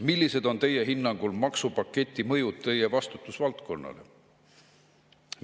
Millised on tema hinnangul maksupaketi mõjud tema vastutusvaldkonnale?